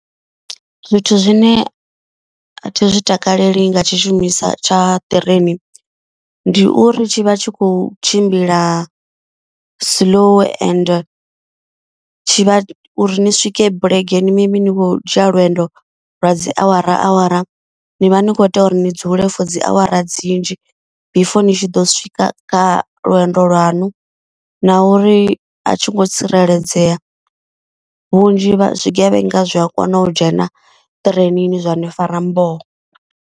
Zwithu zwine a thi zwi takaleli nga tshishumiswa tsha ṱireini. Ndi uri tshi vha tshi khou tshimbila slow and tshivha uri ni swike bulege ni mini mini vho dzhia lwendo lwa dzi awara awara. Ni vha ni kho tea uri ni dzule for dzi awara dzinzhi before ni tshi ḓo swika kha lwendo lwaṋu. Na uri a tshi ngo tsireledzea vhunzhi zwigevhenga zwi a kona u dzhena ṱireinini zwani fara mboho.